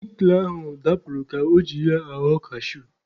Sikle ahụ dapụrụ ka o ji ya aghọ kashu.